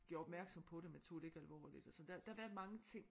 Gjorde opmærksom på det men tog det ikke alvorligt altså der der har været mange ting